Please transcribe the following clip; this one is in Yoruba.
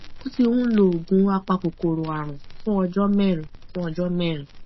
o ti ń lo oògùn apakòkòrò àrùn fún ọjọ mẹrin fún ọjọ mẹrin